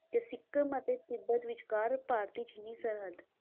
ਤੇ ਸਿੱਕਮ ਅਤੇ ਤਿੱਬਤ ਵਿਚਕਾਰ ਭਾਰਤ-ਚੀਨੀ ਸਰਹੱਦ,